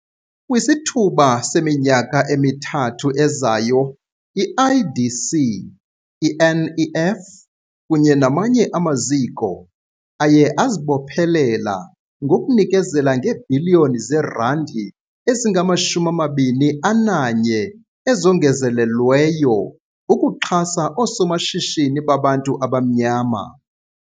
Kwisithuba seminyaka emithathu ezayo i-IDC, i-NEF kunye namanye amaziko aye azibophelela ngokunikezela ngeebhiliyoni zeerandi ezingama-21 ezongezelelweyo ukuxhasa oosomashishini babantu abamnyama.